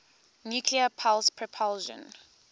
nuclear pulse propulsion